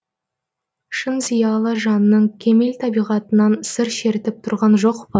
шын зиялы жанның кемел табиғатынан сыр шертіп тұрған жоқ па